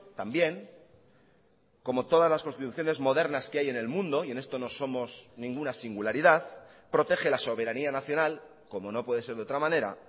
también como todas las constituciones modernas que hay en el mundo y en esto no somos ninguna singularidad protege la soberanía nacional como no puede ser de otra manera